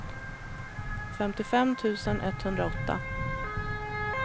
femtiofem tusen etthundraåtta